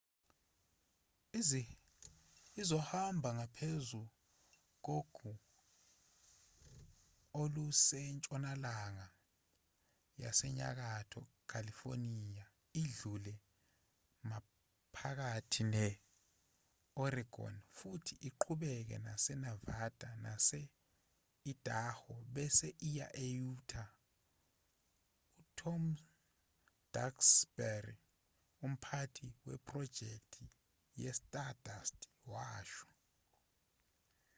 izohamba ngaphezu kogu olusentshonalanga yasenyakatho california idlule maphakathi ne-oregon futhi iqhubekele enevada nase-idaho bese iya e-utah u-tom duxbury umphathi wephrojekthi yestardust washo